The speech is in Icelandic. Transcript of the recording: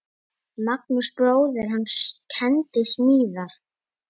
Magnús bróðir hans kenndi smíðar.